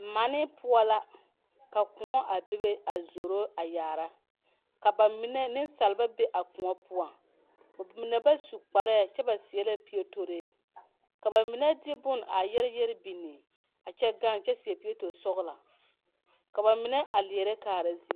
Mane poɔ la ka koɔ a bebe a zoro a yaara ka ba mine niŋsalba be a koɔ poɔ ka mine ba su kpare kyɛ ba seɛ la pietoree la baine de bone a yɛrɛyɛre biŋ kyɛ seɛ pieto sɔglɔ ka ba mine a leɛrɛ kaara ziiri.